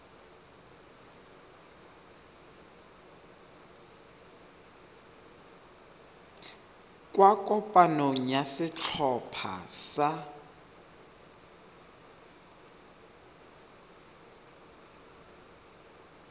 kwa kopanong ya setlhopha sa